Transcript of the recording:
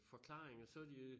Forklaringer var de